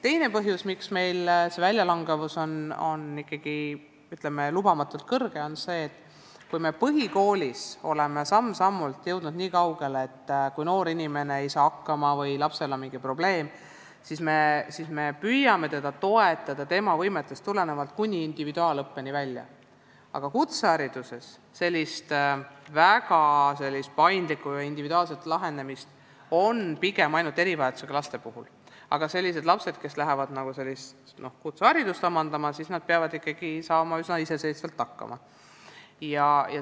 Teine põhjus, miks väljalangevus on ikkagi, ütleme, lubamatult suur, on see, et kui me põhikoolis oleme samm-sammult jõudnud niikaugele, et kui laps ei saa hakkama või tal on mingi probleem, siis me püüame teda tema võimetest tulenevalt toetada, kuni individuaalõppeni välja, aga kutsehariduses on väga paindlik ja individuaalne lähenemine olemas pigem ainult erivajadusega laste jaoks ning lapsed, kes lähevad kutseharidust omandama, peavad ikkagi üsna iseseisvalt hakkama saama.